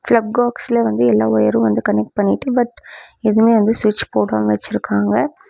Plug பாக்ஸ்ல வந்து எல்லா ஒயிரும் வந்து கனெக்ட் பண்ணிட்டு பட் எதுமே வந்து ஸ்விட்ச் போடாம வச்சிருக்காங்க.